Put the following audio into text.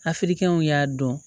Hakilikɛninw y'a dɔn